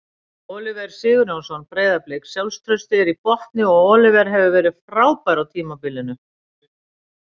Oliver Sigurjónsson- Breiðablik Sjálfstraustið er í botni og Oliver hefur verið frábær á tímabilinu.